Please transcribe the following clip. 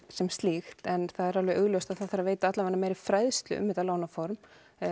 sem slíkt en það er alveg augljóst að það þarf að veita meiri fræðslu um þetta lánaform